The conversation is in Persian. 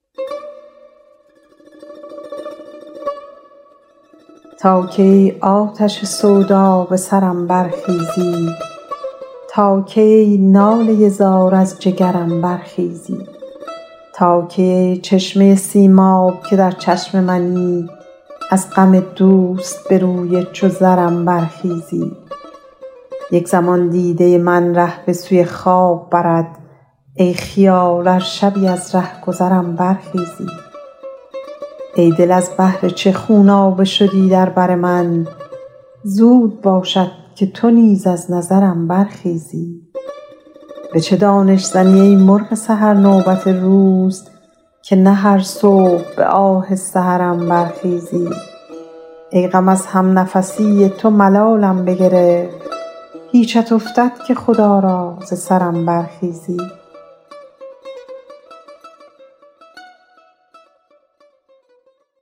تا کی ای آتش سودا به سرم برخیزی تا کی ای ناله زار از جگرم برخیزی تا کی ای چشمه سیماب که در چشم منی از غم دوست به روی چو زرم برخیزی یک زمان دیده من ره به سوی خواب برد ای خیال ار شبی از رهگذرم برخیزی ای دل از بهر چه خونابه شدی در بر من زود باشد که تو نیز از نظرم برخیزی به چه دانش زنی ای مرغ سحر نوبت روز که نه هر صبح به آه سحرم برخیزی ای غم از همنفسی تو ملالم بگرفت هیچت افتد که خدا را ز سرم برخیزی